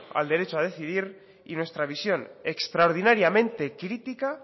al derecho a decidir y nuestra visión extraordinariamente crítica